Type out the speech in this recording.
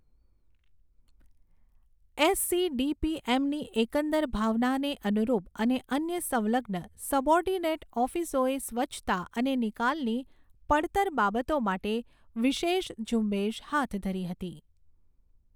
એસસીડીપીએમની એકંદર ભાવનાને અનુરૂપ અને અન્ય સંલગ્ન સબઓર્ડિનેટ ઓફિસોએ સ્વચ્છતા અને નિકાલની પડતર બાબતો માટે વિશેષ ઝુંબેશ હાથ ધરી હતી.